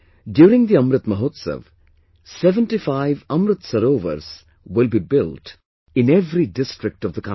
During the Amrit Mahotsav, 75 Amrit Sarovars will be built in every district of the country